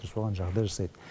соған жағдай жасайды